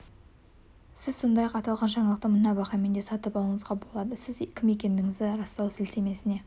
сіз сондай-ақ аталған жаңалықты мына бағамен де сатып алуыңызға болады сіз кім екендігіңізді растау сілтемесіне